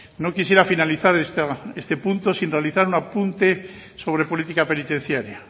no quisiera finalizar este punto sin realizar un apunte sobre política penitenciaria